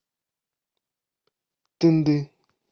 тынды